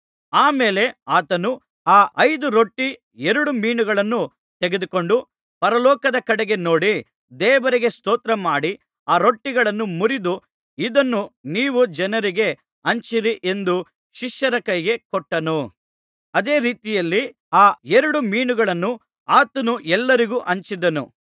ಆ ಮೇಲೆ ಆತನು ಆ ಐದು ರೊಟ್ಟಿ ಎರಡು ಮೀನುಗಳನ್ನು ತೆಗೆದುಕೊಂಡು ಪರಲೋಕದ ಕಡೆಗೆ ನೋಡಿ ದೇವರಿಗೆ ಸ್ತೋತ್ರಮಾಡಿ ಆ ರೊಟ್ಟಿಗಳನ್ನು ಮುರಿದು ಇದನ್ನು ನೀವು ಜನರಿಗೆ ಹಂಚಿರಿ ಎಂದು ಶಿಷ್ಯರ ಕೈಗೆ ಕೊಟ್ಟನು ಅದೇ ರೀತಿಯಲ್ಲಿ ಆ ಎರಡು ಮೀನುಗಳನ್ನೂ ಆತನು ಎಲ್ಲರಿಗೂ ಹಂಚಿಸಿದನು